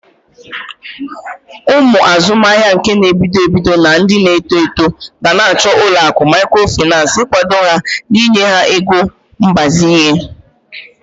Ụmụ azụmahịa ka n'ebido ebido na ndi na-eto eto gana achọ ụlọakụ mikrofinas igwado ha n'inye ha ego mgbazinye.